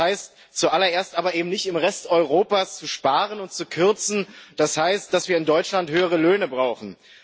Das heißt zuallererst aber eben nicht, im Rest Europas zu sparen und zu kürzen, das heißt dass wir in Deutschland höhere Löhne brauchen.